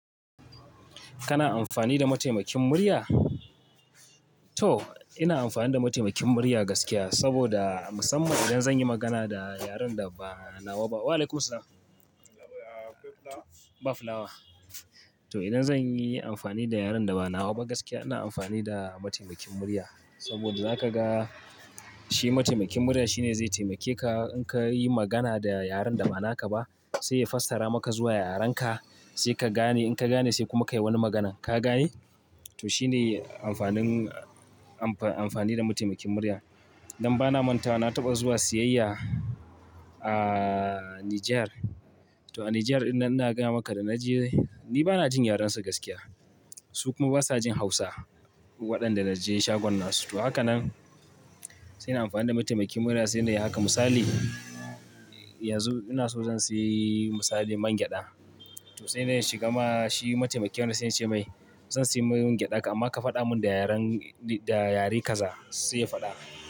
Kana amfani da mataimakin murya? To, ina amfani da mataimakin murya gaskiya, saboda musamman idan zan yi magana da yaren da ba nawa ba. Wa'alaikumussa- ba flower. To idan zan yi amfani da yaren da ba nawa ba gaskiya, ina amfani da mataimakin murya, saboda zaka ga shi mataimakin murya shine zai taimake ka. In ka yi magana da yaren da ba naka ba, sai ya fassara maka zuwa yarenka, sai ka gane In ka gane sai kuma ka yi wani maganan, ka gane? To shine amfanin amfa-amfani da mataimakin murya. Dan bana mantawa na taɓa zuwa siyayya a Niger. To a Niger ɗin nan ina gaya maka da na je, ni bana jin yarensu gaskiya. Su kuma basa jin Hausa, waɗanda na je shagon nasu. To haka nan, sai na amfani da mataimakin murya sai nai haka misali, yanzu ina so zan sayi misali mangyaɗa to sai dai in shiga ma shi mataimakin na sai na ce mai, "zan sayi mangyaɗa amma ka faɗa mun da yaren, da yare kaza", sai ya faɗa min.